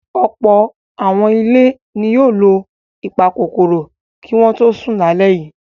Ọ̀pọ̀ àwọn ilé ni yóò lo ìpakòkòrò kí wọ́n tó sùn lálẹ́ yìí.